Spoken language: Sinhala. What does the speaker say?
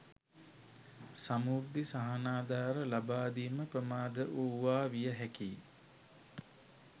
සමෘද්ධි සහනාධාර ලබා දීම ප්‍රමාද වූවා විය හැකියි